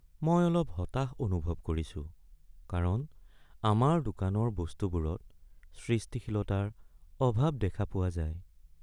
মই অলপ হতাশ অনুভৱ কৰিছোঁ কাৰণ আমাৰ দোকানৰ বস্তুবোৰত সৃষ্টিশীলতাৰ অভাৱ দেখা পোৱা যায়।